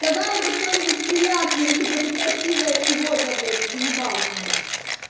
сказал бы что-нибудь приятное типа ты красивая сегодня блять заебал пидр